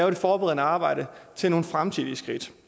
det forberedende arbejde til nogle fremtidige skridt